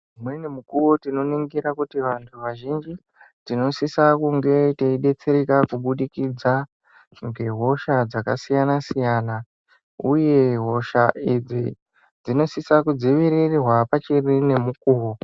Umweni mukuwo tinoningira kuti vantu vazhinji tinosisa kunge teidetsereka kubudikidza ngehosha dzakasiyana siyana uye hosha idzi dzinosisa kudzivirirwa pachiri nemukuwo.